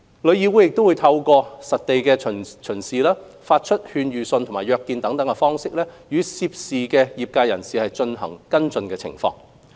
旅議會會透過實地巡視、發出勸諭信和約見等，與涉事業界人士跟進其接待入境旅行團的情況。